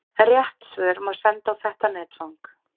Rétt svör má senda á þetta netfang.